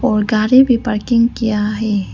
और गाड़ी भी पार्किंग किया है।